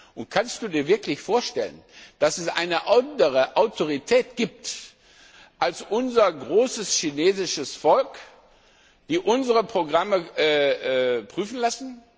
Und kannst Du Dir wirklich vorstellen, dass es eine andere Autorität gibt als unser großes chinesisches Volk, die unsere Programme prüfen lässt?